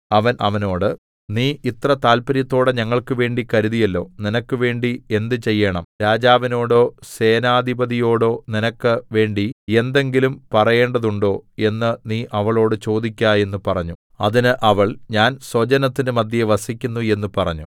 അവൻ അവനോട് നീ ഇത്ര താല്പര്യത്തോടെ ഞങ്ങൾക്കുവേണ്ടി കരുതിയല്ലോ നിനക്ക് വേണ്ടി എന്ത് ചെയ്യേണം രാജാവിനോടോ സേനാധിപതിയോടോ നിനക്ക് വേണ്ടി എന്തെങ്കിലും പറയേണ്ടതുണ്ടോ എന്ന് നീ അവളോട് ചോദിക്ക എന്ന് പറഞ്ഞു അതിന് അവൾ ഞാൻ സ്വജനത്തിന്റെ മദ്ധ്യേ വസിക്കുന്നു എന്ന് പറഞ്ഞു